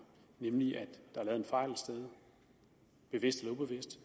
nemlig at der bevidst eller ubevidst